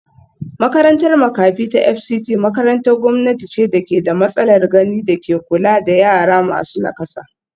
Makarantar makafi ta Fct makarantar gwamnati ce da ke da matsalar gani da ke kula da yara masu nakasa